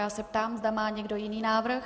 Já se ptám, zda má někdo jiný návrh.